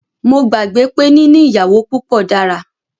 Mó gbàgbé pé níní ìyàwó púpọ dára.